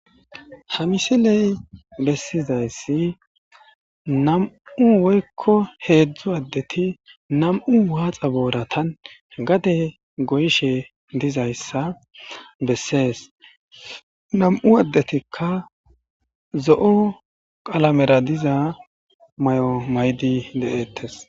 Ha misilay bessizayssi nami'u woykko heedzdzu addeti nami'u waaxa booratan gade goyishe dizayssa besses. Nami'u addetikka zo'o qalamera diza mayo mayidi de'etes.